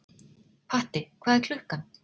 Patti, hvað er klukkan?